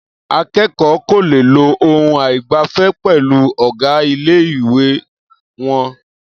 Akẹ́kọ̀ọ́ kò le lo ohùn àìgbẹ̀fẹ̀ pẹ̀lú ọ̀gá ilé-ìwé wọn.